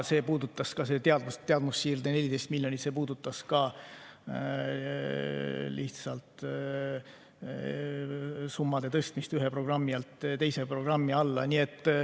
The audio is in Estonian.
Aga teadmussiirde 14 miljonit puudutas ka lihtsalt summade tõstmist ühe programmi alt teise programmi alla.